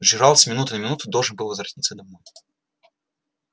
джералд с минуты на минуту должен был возвратиться домой